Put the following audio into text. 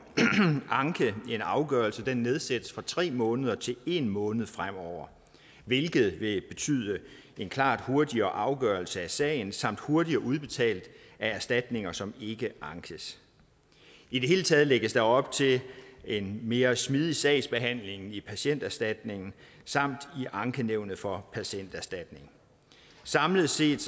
anke en afgørelse nedsættes fra tre måneder til en måned fremover hvilket vil betyde en klart hurtigere afgørelse af sagen samt en hurtigere udbetaling af erstatninger som ikke ankes i det hele taget lægges der op til en mere smidig sagsbehandling i patienterstatningen samt i ankenævnet for patienterstatningen samlet set